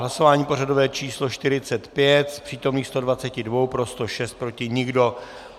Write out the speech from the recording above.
Hlasování pořadové číslo 45: z přítomných 122 pro 106, proti nikdo.